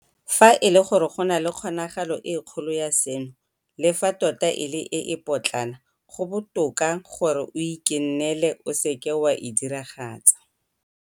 Fa e le gore go na le kgonagalo e kgolo ya seno, le fa tota e le e e potlana, go botoka gore o ikennele o seke wa e diragatsa.